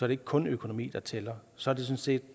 det ikke kun økonomi der tæller så er det sådan set